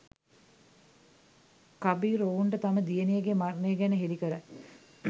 කබීර් ඔවුන්ට තම දියණියගේ මරණය ගැන හෙලි කරයි.